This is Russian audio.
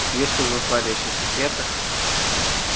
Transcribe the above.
если уж зашла речь о секретах